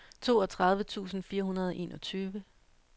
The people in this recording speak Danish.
toogtredive tusind fire hundrede og enogtyve